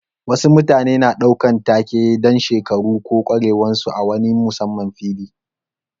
Wasu mutane na ɗaukan take dan shekaru ko kwarewan su a wani musamman fili.